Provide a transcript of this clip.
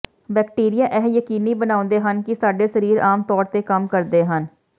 bacteria ਇਹ ਯਕੀਨੀ ਬਣਾਉਂਦੇ ਹਨ ਕਿ ਸਾਡੇ ਸਰੀਰ ਆਮ ਤੌਰ ਤੇ ਕੰਮ ਕਰਦੇ ਹਨ